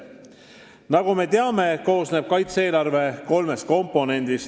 Nagu me teame, koosneb kaitse-eelarve kolmest komponendist.